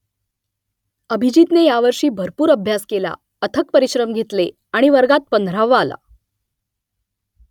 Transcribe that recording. अभिजीतने यावर्षी भरपूर अभ्यास केला अथक परिश्रम घेतले आणि वर्गात पंधरावा आला